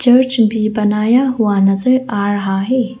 Church भी बनाया हुआ नजर आ रहा है।